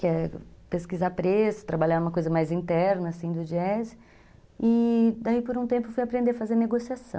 que é pesquisar preço, trabalhar uma coisa mais interna do jazz, e daí por um tempo fui aprender a fazer negociação.